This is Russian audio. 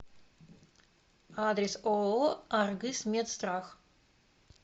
адрес ооо аргысмедстрах